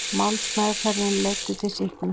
Málsmeðferðin leiddi til sýknu